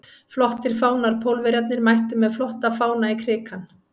Flottir fánar Pólverjarnir mættu með flotta fána í Krikann.